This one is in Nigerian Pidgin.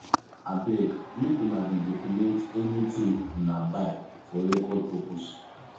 abeg make una dey document anything una buy for record purpose